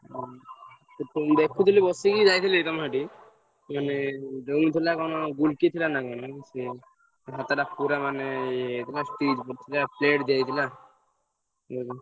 ହଁ ଦେଖୁଥିଲି ବସିକି ଯାଇଥିଲି ତମର ସେଠିକି ମାନେ ଥିଲା କଣ ଥିଲା ନା କଣ ସେ ତା ହାତଟା ପୁରା ମାନେ ଇଏ କଣ stitch ପଡିଥିଲା ଦିଆହେଇଥିଲା। ।